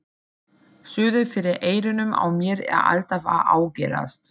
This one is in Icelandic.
Suðið fyrir eyrunum á mér er alltaf að ágerast.